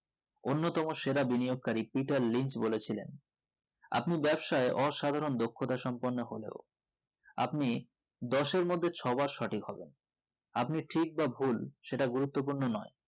অন্যতম সেরা বিনিয়োগ করি পিটার লিংক বলেছিলেন আপনি ব্যাবসায়ী অসাধারণ ধকতা সম্পূর্ণ হলেও আপনি দশ এর মধ্যে ছবার সঠিক হবেনা আপনি ঠিক বা ভুল সেটা গুরুত্বপূর্ণ নোই